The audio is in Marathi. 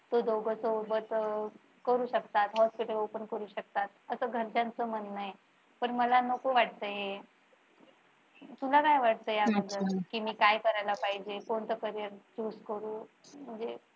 तर दोघं सोबत करू शकतात. hospital open करू शकतात. अस घरच्यांच म्हणं आहे पण मला नको वाटतंय हे तुला काय वाटते याबद्दल की मी काय करायला पाहिजे कोणतं carrier choose करू म्हणजे